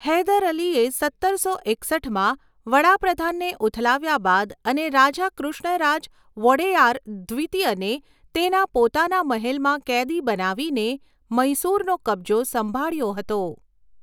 હૈદર અલીએ સત્તરસો એકસઠમાં વડા પ્રધાનને ઉથલાવ્યા બાદ અને રાજા કૃષ્ણરાજ વોડેયાર દ્વિતીયને તેના પોતાના મહેલમાં કેદી બનાવીને, મૈસૂરનો કબજો સંભાળ્યો હતો.